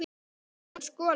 Síðan skolað.